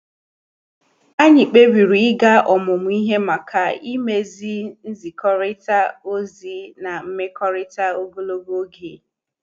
Anyị kpebiri ịga ọmụmụ ihe maka imezi nzikorita ozi na mmekọrịta ogologo oge